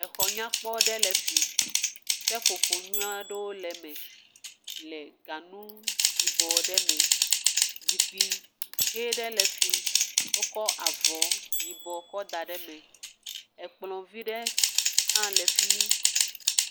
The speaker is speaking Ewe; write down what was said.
Exɔ nyakpɔ ɖe le fi. Seƒoƒo nyui aɖewo le eme le ganu yibɔ aɖe me. Zikpui ʋe ɖe le fi yi. Wokɔ avɔ yibɔ kɔ da ɖe eme. Ekplɔ vi ɖe hã le fi mi.